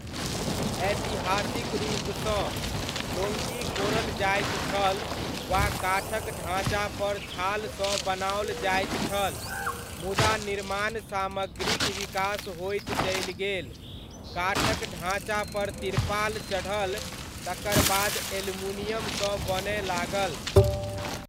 ऐतिहासिक रूपसँ, डोङ्गी कोड़ल जाइत छल वा काठक ढाँचापर छालसँ बनाओल जाइत छल, मुदा निर्माण सामग्रीक विकास होइत चलि गेल, काठक ढाँचापर तिरपाल चढ़ल, तकर बाद एलमुनियमसँ बनय लागल।